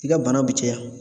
I ka bana bi caya.